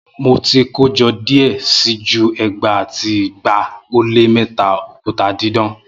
Mo ti kojọ diẹ sii ju ẹgbaa ati igba o le mẹta okuta didan